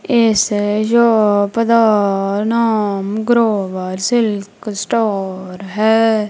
ਇਸ ਸ਼ੋਪ ਦਾ ਨਾਮ ਗਰੋਵਰ ਸਿਲਕ ਸਟੋਰ ਹੈ।